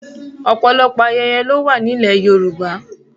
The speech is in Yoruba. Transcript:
Ọ̀pọ̀lọpọ̀ ayẹyẹ lówà nílẹ̀ Yorùbá.